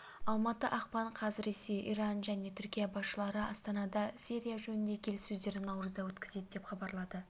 алматы ақпан қаз ресей иран және түркия басшылары астанада сирия жөніндегі келіссөздерді наурызда өткізеді деп хабарлады